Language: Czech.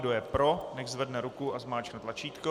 Kdo je pro, nechť zvedne ruku a zmáčkne tlačítko.